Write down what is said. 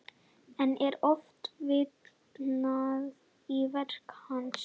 Enn er oft vitnað í verk hans.